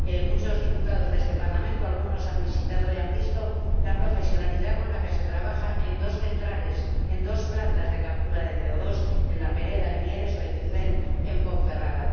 Algunos diputados de este Parlamento han visitado y han visto la profesionalidad con la que se trabaja en dos centrales, en dos plantas de captura de CO 2 la de La Pereda, en Mieres, o la de Ciuden, en Ponferrada.